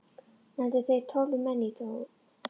Nefndu þeir tólf menn í dóm.